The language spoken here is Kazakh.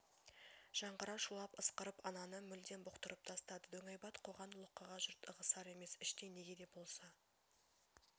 жаңғыра шулап ысқырып ананы мүлдем бұқтырып тастады дөңайбат қоқан-лоққыға жұрт ығысар емес іштей неге де болса